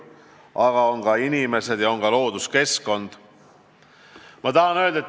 Euroopa on ka inimesed ja looduskeskkond.